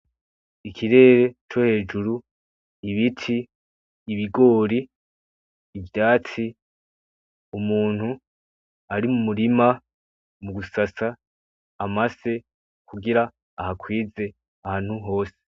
Ikirere co hejuru, ibiti, ibigori, ivyatsi, umuntu ari mu murima mugusasa amase kugira ahakwize ahantu hose.